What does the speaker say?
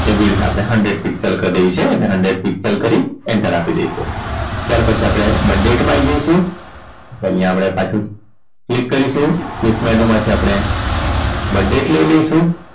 એ widths આપણે hundred piscal કરી દેવી છે એને hundred piscal કરી enter આપી દઈશું ત્યાર પછી આપણે birth date માં આવી જઈશું અહીંયા આપણે પાછું click કરીશુ click menu માંથી આપણે birth date લઈ લઈશું